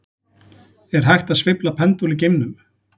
Er hægt að sveifla pendúl í geimnum?